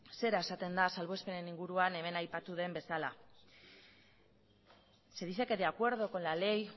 zera esaten da salbuespen inguruan hemen aipatu den bezala se dice que de acuerdo con la ley